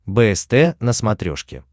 бст на смотрешке